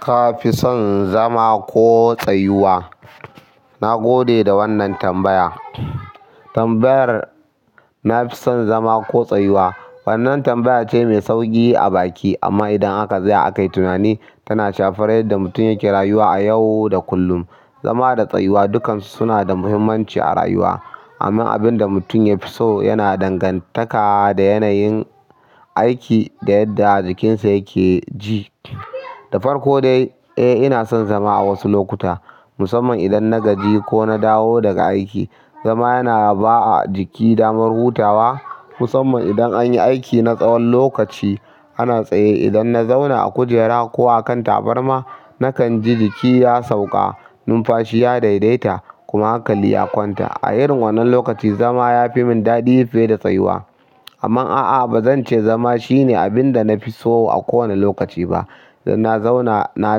Ka fi son zama ko tsayuwa? Na gode da wannan tambaya. Tambayar "na fi son zama ko tsayuwa?" wannan tambaya ce mai sauƙi a baki amma idan aka tsaya akai tunani tana shafar yadda mutum yake rayuwa a yau da kullum. Zama da tsayuwa dukansu suna da muhimmanci a rayuwa. Amma abin da mutum ya fi so yana dangantaka da yanayin aiki da yadda jikinsa yake ji. Da farko dai, eh ina son zama a wasu lokuta. Musamman idan na gaji ko na dawo daga aiki. Zama yana ba jiki damar hutawa musamman idan anyi aiki na tsawon lokaci. Ana tsaye idan na zauna a kujera ko a kan tabarma nakan ji jiki ya sauka, numfashi ya daidaita kuma hankali ya kwanta. A irin wannan lokaci zama yafi mun daɗi fiye da tsayuwa. Amman a'a ba zan ce zama shine abin da na fi so a kowane lokaci ba. Idan na zauna na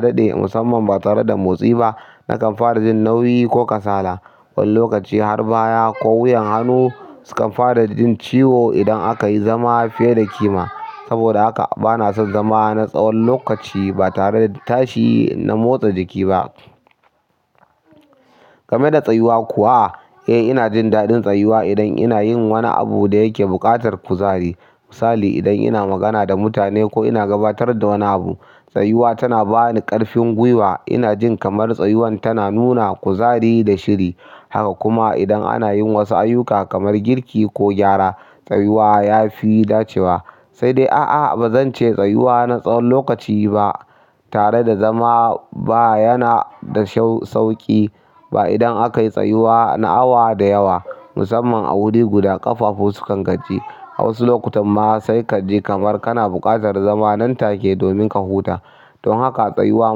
daɗe musamman ba tare da motsi ba nakan fara jin nauyi ko kasala. Wani lokaci har baya ko wuyan hannu sukan fara jin ciwo idan aka yi zama fiye da ƙima. Saboda haka bana son zama na tsawon lokaci ba tare da tashi na motsa jiki ba. Game da tsayuwa kuwa, eh ina jin daɗin tsayuwa idan ina yin wani abu da yake buƙatar kuzari. Misali idan ina magana da mutane ko ina gabatar da wani abu. Tsayuwa tana ba ni ƙarfin gwiwa. Ina jin kamar tsayuwan tana nuna kuzari da shiri. Haka kuma idan ana yin wasu ayyuka kamar girki ko gyara, tsayuwa ya fi dacewa. Sai dai a'a ba zan ce tsayuwa na tsawon lokaci ba. Tare da zama ba yana da sauƙi ba idan aka yi tsayuwa na awa da yawa. Musamman a wuri guda ƙafafu su kan gaji. A wasu lokutan ma sai kaji kamar kana buƙatar zama nan take domin ka huta. Don haka tsayuwa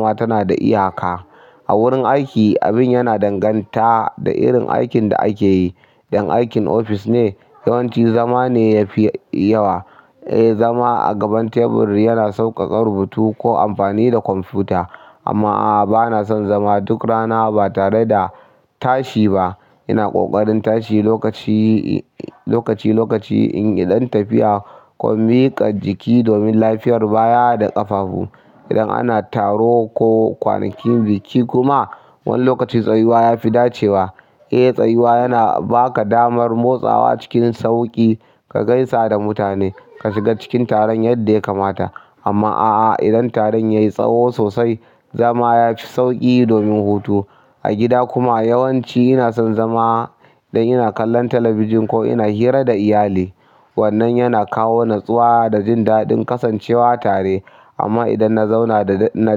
ma tana da iyaka. A wurin aiki abin yana danganta da irin aikin da ake yi. Idan aikin ofis ne yawanci zama ne ya fi yawa. Eh zama a gaban tebur yana sauƙaƙa rubutu ko amfani da kwamfuta. Amma a'a bana son zama duk rana ba tare da tashi ba. Ina ƙoƙarin tashi lokaci, lokaci, lokaci in yi ɗan tafiya ko miƙa jiki domin lafiyar baya da ƙafafu. Idan ana taro ko kwanakin biki kuma wani lokaci tsayuwa ya fi dacewa. Eh tsayuwa yana ba ka damar motsawa cikin sauƙi, ka gaisa da mutane, ka shiga cikin taron yadda ya kamata. Amma a'a idan taron yayi tsaho sosai zama yaf sauƙi domin hutu. A gida kuma yawanci ina son zama idan ina kallon talabijin ko ina hira da iyali. Wannan yana kawo natsuwa da jin daɗin kasancewa tare. Amma idan na zauna na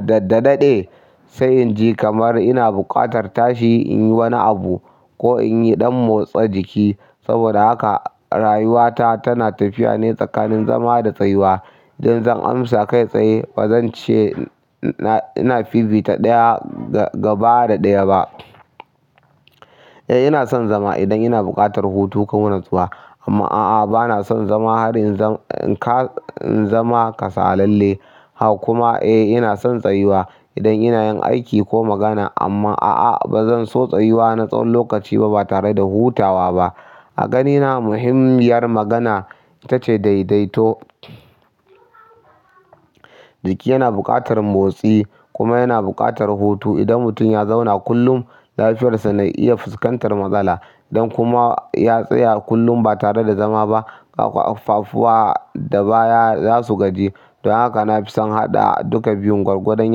daɗe sai inji kamar ina buƙatar tashi in yi wani abu ko in yi ɗan motsa jiki. Saboda haka rayuwata tana tafiya ne tsakanin zama da tsayuwa. Eh zan amsa kai tsaye bazance ina fifita ɗaya fiye da ɗaya ba eh ina son zama idan ina buƙatar hutu ko natsuwa. Amma a'a bana son zama har in zama kasalalle. Haka kuma eh ina son tsayuwa idan ina yin aiki ko magana. Amma a'a ba zan so tsayuwa na tsawon lokaci ba tare da hutawa ba. A ganina muhimmiyar magana ita ce daidaito. Jiki yana buƙatar motsi kuma yana buƙatar hutu. Idan mutum ya zauna kullum lafiyarsa na iya fuskantar matsala. Dan kuma ya tsaya kullum ba tare da zama ƙafafuwa da baya za su gaji. Don haka na fi son haɗa duka biyun gwargwadon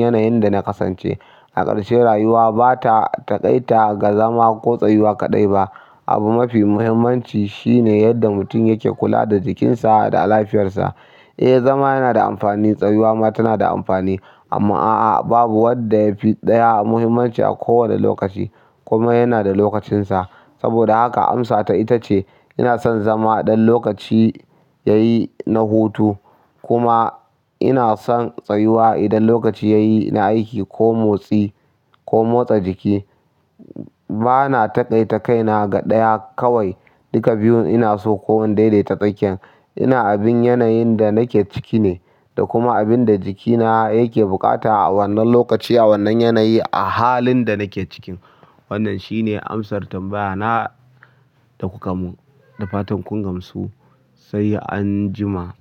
yanayin da na kasance. A ƙarshe rayuwa ba ta taƙaita ga zama ko tsayuwa kaɗai ba. Abu mafi muhimmanci shine yadda mutum yake kula da jikinsa da lafiyarsa. Eh zama yana da amfani, tsayuwa ma tana da amfani. Amma a'a babu wadda ya fi ɗaya muhimmanci a kowane lokaci. Komai yana da lokacinsa. Saboda haka amsata ita ce ina son zama idan lokaci ya yi na hutu. Kuma ina son tsayuwa idan lokaci ya yi na aiki ko motsi ko motsa jiki. Bana taƙaita kaina ga ɗaya kawai. Duka biyun ina so ko in daidaita tsakiyan. Ina bin yanayin da nake ciki ne da kuma abin da jikina yake buƙata a wannan lokaci a wannan yanayi a halin da nake ciki. Wannan shine amsar tambaya na da kuka mun. Da fatan kun gamsu. Sai an jima.